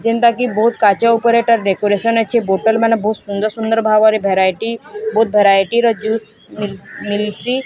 ଜେମତାକି ବହୁତ କାର୍ଯ୍ୟ ଉପରେ ଏଟା ଡେକାରେସନ ଅଛି ବୋତଲ ମାନେ ବହୁତ ସୁନ୍ଦର ସୁନ୍ଦର ଭାବରେ ଭେରାଇଟି ବହୁତ ଭେରାଇ ଟିର ଜୁସ ମିଲସି।